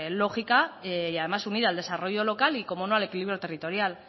lógica y unida el desarrollo local y cómo no al equilibrio territorial